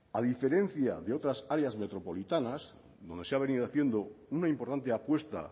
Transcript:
a diferencia de otras áreas metropolitanas donde se ha venido haciendo una importante apuesta